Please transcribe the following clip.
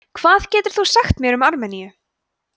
hvað getur þú sagt mér um armeníu